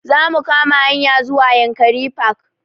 Za mu kama hanya zuwa yankari park